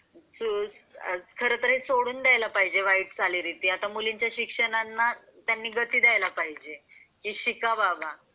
खरंतर हे सोडून द्यायला पाहिजे वाईट चालीरीती उलट मुलींच्या शिक्षणाला त्यांनी गती द्यायला पाहिजे कि शिका बाबा.